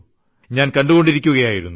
ഞാൻ കണ്ടിരിക്കുകയായിരുന്നു